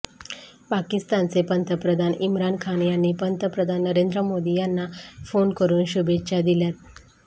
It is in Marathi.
पाकिस्तानचे पंतप्रधान इम्रान खान यांनी पंतप्रधान नरेंद्र मोदी यांना फोन करून शुभेच्छा दिल्यात